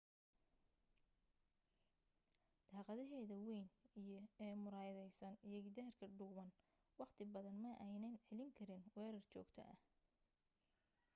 daaqadaheeda weyn ee muraayadaysan iyo gidaarka dhuuban wakhti badan ma aynan celin karin weerar joogto ah